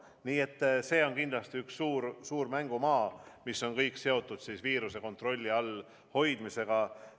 Nii et see on kindlasti üks suur mängumaa, mis on kõik seotud viiruse kontrolli all hoidmisega.